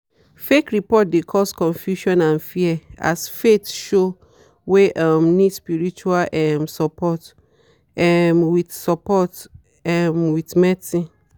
fake report de cause confusion and fear as faith show wey um need spirtual um support um with support um with medicine.